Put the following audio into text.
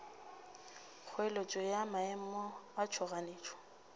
kgoeletšo ya maemo a tšhoganetšo